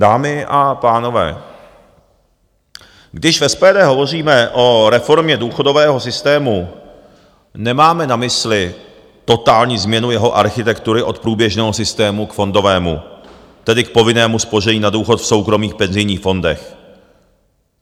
Dámy a pánové, když v SPD hovoříme o reformě důchodového systému, nemáme na mysli totální změnu jeho architektury od průběžného systému k fondovému, tedy k povinnému spoření na důchod v soukromých penzijních fondech.